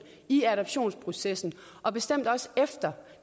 i adoptionsprocessen og bestemt også efter